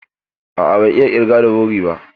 A'a, ban iya ƙirga da wuri ba.